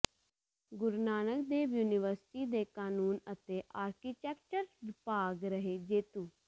ਗੁਰੂ Nanak Dev university ਦੇ ਕਾਨੂੰਨ ਅਤੇ ਆਰਕੀਟੈਕਚਰ ਵਿਭਾਗ ਰਹੇ ਜੇਤੂ